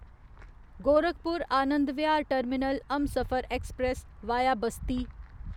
Gorakhpur Anand Vihar terminal Humsafar express via Basti